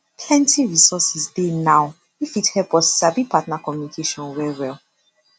plenty resources dey now wey fit help us sabi partner communication well well